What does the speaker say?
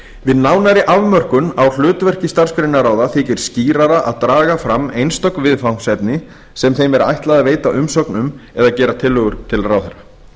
við nánari afmörkun á hlutverki starfsgreinaráða þykir skýrara að draga fram einstök viðfangsefni sem þeim er ætlað að veita umsögn um eða gera tillögur um til ráðherra